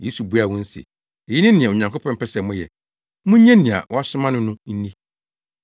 Yesu buaa wɔn se, “Eyi ne nea Onyankopɔn pɛ sɛ moyɛ, munnye nea wasoma no no nni.”